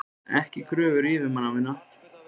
Ekki kröfur yfirmanna minna.